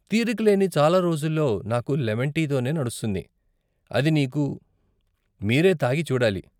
తీరిక లేని చాల రోజుల్లో నాకు లెమన్ టీ తోనే నడుస్తుంది, అది నీకు మీరే తాగి చూడాలి.